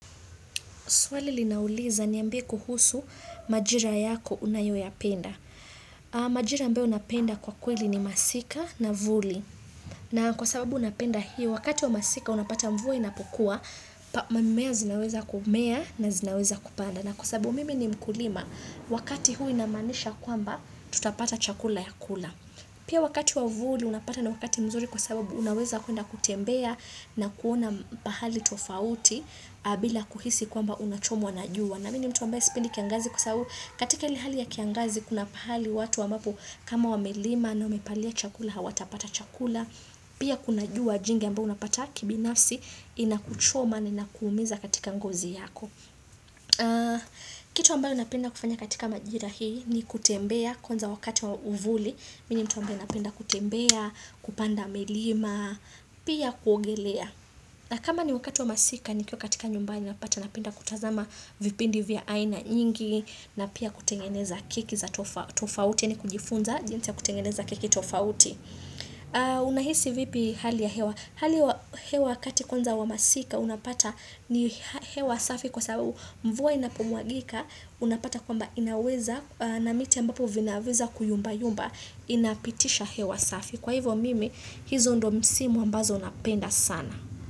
Swali linauliza niambie kuhusu majira yako unayoyapenda. Majira ambayo napenda kwa kweli ni masika na vuli. Na kwa sababu napenda hiyo, wakati wa masika unapata mvua inapokuwa, mimea zinaweza kumea na zinaweza kupanda. Na kwa sababu mimi ni mkulima, wakati huu inamanisha kwamba, tutapata chakula ya kula. Pia wakati wa vuli unapata ni wakati mzuri kwa sababu unaweza kwenda kutembea na kuona pahali tofauti. Bila kuhisi kwamba unachomwa na jua, na mimi ni mtu ambaye sipendi kiangazi kwa sababu, katika ile hali ya kiangazi kuna pahali watu ambapo, kama wamelima na umepalia chakula hawatapata chakula Pia kuna jua jingi ambayo unapata kibinafsi inakuchoma na inakuumiza katika ngozi yako Kitu ambayo napenda kufanya katika majira hii, ni kutembea kwanza wakati wa uvuli, mimi ni mtu ambaye napenda kutembea, kupanda milima, pia kuogelea. Na kama ni wakati wa masika nikiwa katika nyumbani napata napenda kutazama vipindi vya aina nyingi na pia kutengeneza keki za tofauti yaani kujifunza jinsi ya kutengeneza keki tofauti. Unahisi vipi hali ya hewa? Hali ya hewa kati kwanza wa masika unapata ni hewa safi kwa sababu mvua inapomwagika unapata kwamba inaweza na miti ambapo vinaweza kuyumba yumba inapitisha hewa safi. Kwa hivyo mimi, hizo ndo msimu ambazo napenda sana.